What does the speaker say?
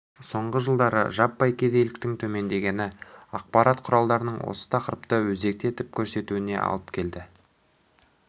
соңғы жылдары жаппай кедейліктің төмендегені ақпарат құралдарының осы тақырыпты өзекті етіп көрсетуіне алып келді